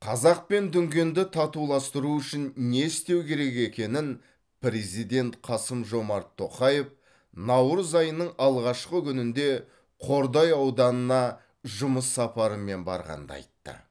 қазақ пен дүнгенді татуластыру үшін не істеу керек екенін президент қасым жомарт тоқаев наурыз айының алғашқы күнінде қордай ауданына жұмыс сапарымен барғанда айтты